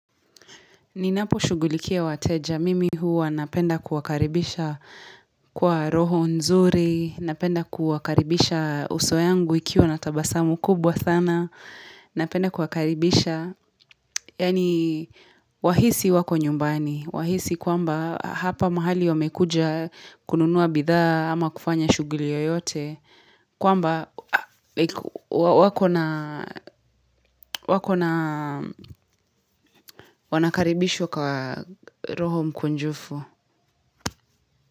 Ninaposhughulikia wateja, mimi huwa napenda kuwakaribisha kwa roho nzuri, napenda kuwakaribisha uso yangu ikiwa na tabasamu kubwa sana, napenda kuwakaribisha, yaani wahisi wako nyumbani, wahisi kwamba hapa mahali wamekuja kununuwa bidhaa ama kufanya shughuli yoyote, kwamba wakona wanakaribishwa kwa roho mkunjufu.